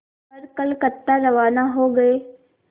कर कलकत्ता रवाना हो गए